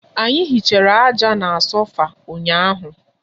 Anyi hichara aja na sofa ụnyahụ